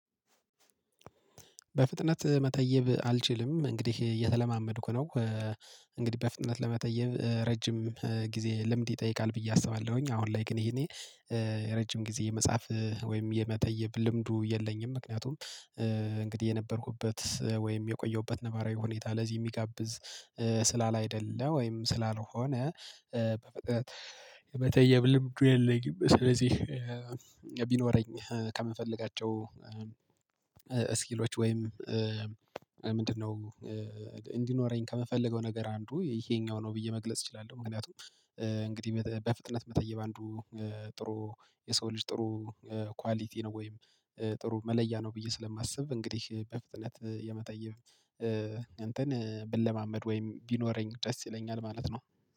በፍጥነት መተየብ አልችልም እንግዲህ እየተለማመድኩ ነው። እንግዲህ በፍጥነት ለመተየብ ረጅም ጊዜ ልምድ ይጠይቃል ብዬ አስባለሁኝ አሁን ላይ ግን የእኔ ረጅም ጊዜ የመጻፍ ወይም የመተየብ ልምዱ የለኝም። ምክንያቱም እንግዲህ የነበርኩበት ወይም የቆየሁበት ነባራዊ ሁኔታ ለዚህ የሚጋብዝ ስላላይደለ ወይም ስላልሆነ በፍጥነት የመተየብ ልምዱ የለኝም። ስለዚህ ቢኖረኝ ከምፈልጋቸው ስኪሎች ወይም ምንድነው? እንዲኖረኝ ከምፈልገው ነገር አንዱ ይሄኛው ነው ብዬ መግለጽ እችላለሁ። ምክንያቱም እንግዲህ በፍጥነት መታየብ አንዱ ጥሩ የሰው ልጅ ጥሩ ኳሊቲ ነው ወይም ጥሩ መለያ ነው ብዬ ስለማስብ። እንግዲህ በፍጥነት የመተየብ እንትን ብለማመድ ወይም ቢኖረኝ ደስ ይለኛል ማለት ነው